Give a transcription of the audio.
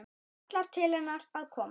Kallar til hennar að koma.